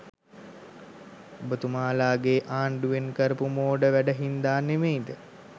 ඔබතුමාලගේ ආණ්ඩුවෙන් කරපු මෝඩ වැඩ හින්ද නෙමෙයිද